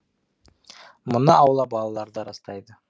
мұны аула балалары да растайды